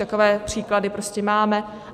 Takové případy prostě máme.